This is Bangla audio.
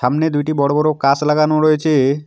সামনে দুইটি বড়ো বড়ো কাস লাগানো রয়েছে।